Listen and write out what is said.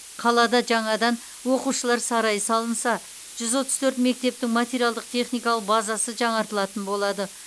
қалада жаңадан оқушылар сарайы салынса жүз отыз төрт мектептің материалдық техникалық базасы жаңартылатын болады